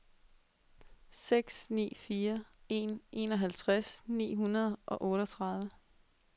seks ni fire en enoghalvtreds ni hundrede og otteogtredive